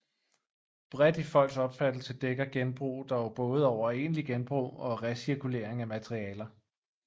Bredt i folks opfattelse dækker genbrug dog både over egentlig genbrug og recirkulering af materialer